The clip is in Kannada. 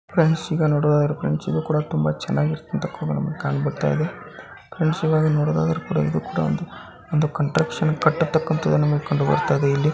ಫ್ರೆಂಡ್ಸ್ ಈಗ ನೋಡೋದು ಅದರೆ ಫ್ರೆಂಡ್ಸ್ ಇದು ಕೂಡ ತುಂಬಾ ಚೆನ್ನಾಗಿ ನಮಗೇ ಕಣ್ಬರ್ತಾ ಇದೆ. ಫ್ರೆಂಡ್ಸ್ ಇವಾಗ ನೋಡೋದು ಆದ್ರೆ ಕೂಡ ಇದು ಕೂಡ ಒಂದು ಒಂದು ಕನ್ಸ್ಸ್ಟ್ರಕ್ಷನ್ ಕಟ್ಟುತಕ್ಕ ಅಂತಹುದು ನಮ್ಮಗೆ ಕಂಡು ಬರ್ತಾ ಇದೆ .